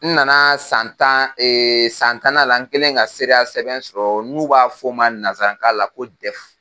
N nana san tan san tan na la, n kelen ka seereya sɛbɛn sɔrɔ n'u b'a fo ma nanzara k'a la ko